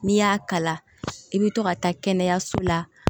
N'i y'a kala i bɛ to ka taa kɛnɛyaso la